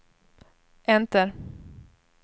enter